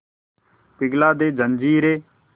पिघला दे जंजीरें